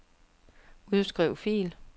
Udskriv fil.